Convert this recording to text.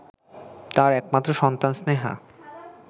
তার একমাত্র সন্তান স্নেহা